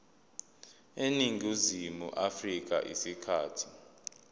eningizimu afrika isikhathi